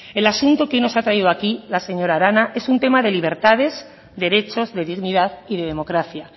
el asunto que hoy nos ha traído aquí la señora arana es un tema de libertades derechos y de dignidad y de democracia